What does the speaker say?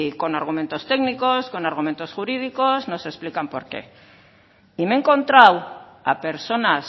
con argumentos técnicos con argumentos jurídicos nos explican por qué y me he encontrado a personas